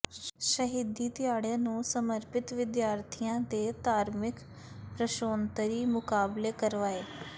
ਸ਼ਹੀਦੀ ਦਿਹਾੜੇ ਨੂੰ ਸਮਰਪਿਤ ਵਿਦਿਆਰਥਣਾਂ ਦੇ ਧਾਰਮਿਕ ਪ੍ਰਸ਼ੋਨਤਰੀ ਮੁਕਾਬਲੇ ਕਰਵਾਏ